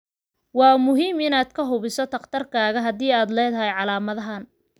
Waa muhiim inaad ka hubiso dhakhtarkaaga haddii aad leedahay calaamadahan.